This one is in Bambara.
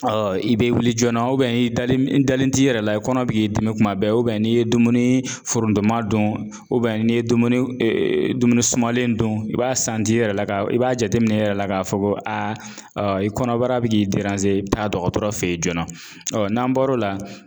i be wuli joona i dalen i dalen t'i yɛrɛ la i kɔnɔ be k'i dimi kuma bɛɛ n'i ye dumuni forontoma dun n'i ye dumuniw dumuni sumalen dun i b'a i yɛrɛ la ka i b'a jateminɛ i yɛrɛ la k'a fɔ ko i kɔnɔbara bɛ k'i i bi taa dɔgɔtɔrɔ fe ye joona. n'an bɔr'o la